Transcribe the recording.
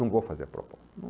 Não vou fazer a proposta.